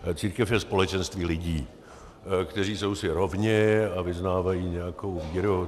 Církev je společenství lidí, kteří jsou si rovni a vyznávají nějakou víru.